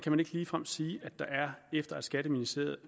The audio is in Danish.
man ikke ligefrem sige at der er efter at skatteministeriet